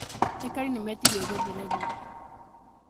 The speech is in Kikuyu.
Aikari nĩ metirie gũthererio